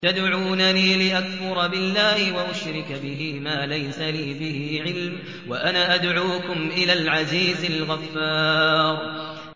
تَدْعُونَنِي لِأَكْفُرَ بِاللَّهِ وَأُشْرِكَ بِهِ مَا لَيْسَ لِي بِهِ عِلْمٌ وَأَنَا أَدْعُوكُمْ إِلَى الْعَزِيزِ الْغَفَّارِ